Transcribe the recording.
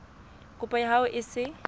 kopo ya hao e se